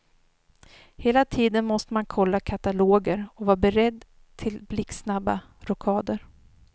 Hela tiden måste man kolla kataloger och vara beredd till blixtsnabba rockader.